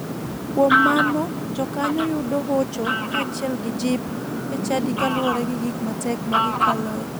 Kuom mano jokanyo yudo hocho kachiel gi jip e chadi kaluore gi gik matek ma gikaloe.